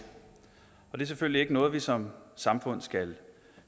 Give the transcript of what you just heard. det er selvfølgelig ikke noget vi som samfund skal